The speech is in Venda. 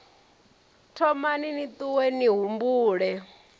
thomani ni ṱuwe ni humbule